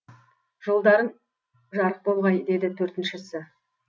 жолдарың жарық болғай деді төртіншісі